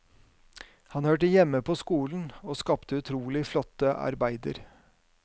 Han hørte hjemme på skolen og skapte utrolig flotte arbeider.